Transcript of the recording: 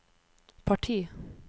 parti